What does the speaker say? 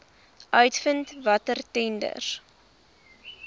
uitvind watter tenders